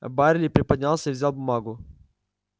байерли приподнялся и взял бумагу